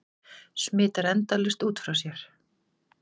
Smitar endalaust út frá sér.